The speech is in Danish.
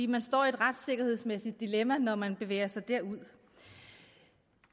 man står i et retssikkerhedsmæssigt dilemma når man bevæger sig derud